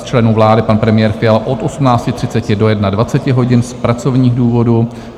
Z členů vlády: pan premiér Fiala - od 18.30 do 21 hodin z pracovních důvodů;